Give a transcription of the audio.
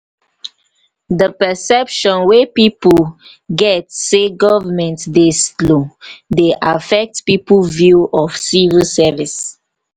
the perception wey pipo get sey government dey slow dey affect pipo view of civil service